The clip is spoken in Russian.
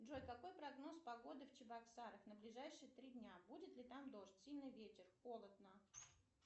джой какой прогноз погоды в чебоксарах на ближайшие три дня будет ли там дождь сильный ветер холодно